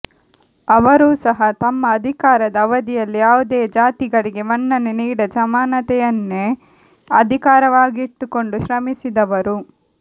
ಅವರೂ ಸಹ ತಮ್ಮ ಅಧಿಕಾರದ ಅವಧಿಯಲ್ಲಿ ಯಾವುದೇ ಜಾತಿಗಳಿಗೆ ಮನ್ನಣೆ ನೀಡದೆ ಸಮಾನತೆಯನ್ನೇ ಆಧಾರವಾಗಿಟ್ಟುಕೊಂಡು ಶ್ರಮಿಸಿದವರು